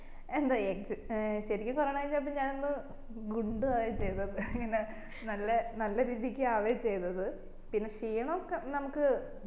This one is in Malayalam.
എന്താ ഏർ ശെരിക്കും കൊറോണ വച്ചപ്പോ ഞാൻ അന്ന് ഗുണ്ടു ആവാ ചെയ്തത് എങ്ങനെ നല്ല നല്ല രീതിക്ക് ആവേ ചെയ്തത് പിന്നെ ക്ഷീണോക്കെ നമ്മക്ക്